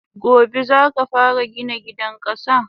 Gobe zaka fara Gina gidan kasa!